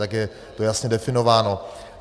Tak je to jasně definováno.